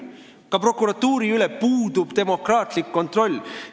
Ka prokuratuuri üle puudub demokraatlik kontroll!